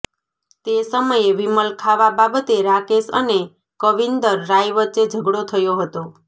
તે સમયે વિમલ ખાવા બાબતે રાકેશ અને કવીન્દર રાય વચ્ચે ઝગડો થયો હતો